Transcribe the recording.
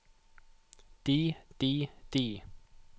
de de de